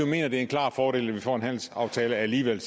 mener at det er en klar fordel at vi får en handelsaftale alligevel